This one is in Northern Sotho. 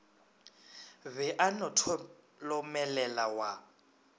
be a no tholomelela wa